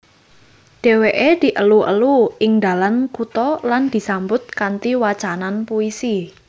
Dewèké dielu elu ing dalan kutha lan disambut kanthi wacanan puisi